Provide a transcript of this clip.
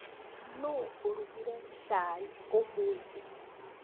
Nũũ ũrugire cai ũmũthĩ?